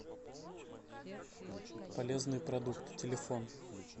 полезные продукты телефон